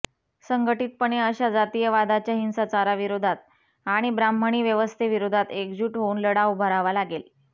संघटीतपणे अश्या जातीयवादाच्या हिंसाचाराविरोधात आणि ब्राह्मणी व्यवस्थेविरोधात एकजूट होऊन लढा उभारावा लागेल